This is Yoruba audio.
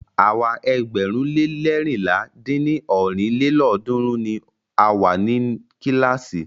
Àwa ẹgbẹ̀rún le leérinlá dín ní ọ́rin lélọ́ọ̀dúnrún ni a wa ni kílàásì.